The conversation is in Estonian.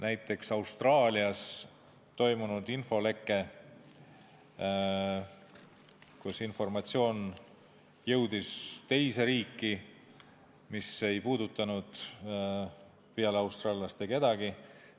Näiteks Austraalias on toimunud infoleke, mille käigus on informatsioon jõudnud teise riiki, see ei puudutanud peale austraallaste kedagi.